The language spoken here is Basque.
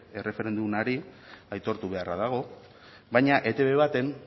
erreferendumari aitortu beharra dago baina etb baten